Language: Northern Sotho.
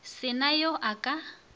se na yo a ka